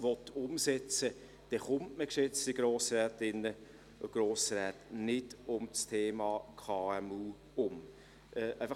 Wenn man eine solche Vision umsetzen will, kommt man, geschätzte Grossrätinnen und Grossräte, um das Thema KMU nicht herum.